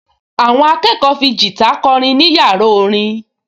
Àwọn akẹ́kọ̀ọ fi gìtá kọrin ní yàrá orin